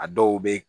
A dɔw be yen